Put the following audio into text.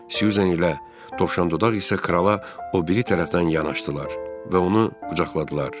Syuzan ilə Dovşan dodaq isə krala o biri tərəfdən yanaşdılar və onu qucaqladılar.